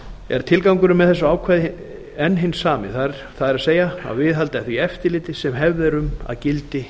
er tilgangurinn með þessu ákvæði enn hinn sami það er að viðhalda því eftirliti sem hefð er um að gildi